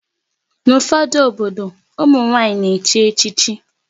N'ufodu obodo, ụmụ nwanyị na echi echichi